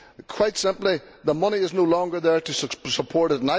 Quite simply, the money is no longer there to support it.